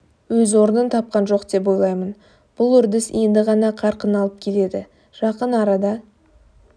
өз орнын тапқан жоқ деп ойлаймын бұл үрдіс енді ғана қарқын алып келеді жақын арада